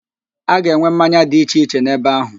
A ga-enwe mmanya dị iche iche n'ebe áhụ̀.